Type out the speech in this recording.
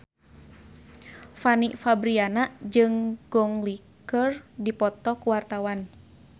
Fanny Fabriana jeung Gong Li keur dipoto ku wartawan